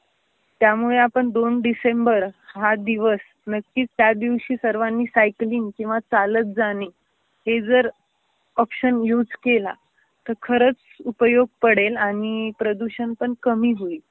त्यामुळे आपण दोन डिसेंबर हा दिवस नक्कीच त्यादिवशी सर्वांनी सायकलिंग किवा चालत जाणे हे जर ऑपशन युज केला तर खरच उपयोग पडेल आणि प्रदूषण पण कमी होईल.